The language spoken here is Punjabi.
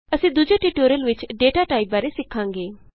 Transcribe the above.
ਅਸੀਂ ਦੂਜੇ ਟਯੂਟੋਰਿਅਲ ਵਿਚ ਡਾਟਾ ਟਾਈਪ ਬਾਰੇ ਸਿੱਖਾਂਗੇ